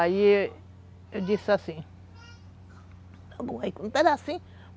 Aí eu disse assim,